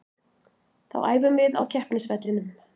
Þá æfum við á keppnisvellinum.